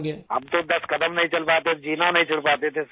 राजेश प्रजापति हम तो दस कदम नहीं चल पातें थे जीना नहीं चढ़ पाते थे सिर